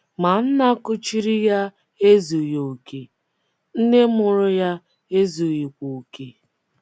Ma nna kuchiri ya ezughị okè; nne mụrụ ya ezughịkwa okè.